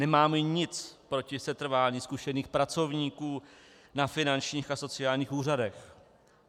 Nemám nic proti setrvání zkušených pracovníků na finančních a sociálních úřadech.